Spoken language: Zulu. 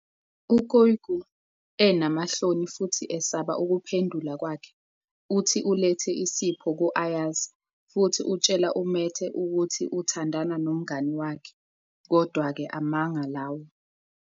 U-kykü, enamahloni futhi esaba ukuphendula kwakhe, uthi ulethe isipho ku-Ayaz futhi utshela uMete ukuthi uthandana nomngani wakhe, kodwa-ke amanga lawo.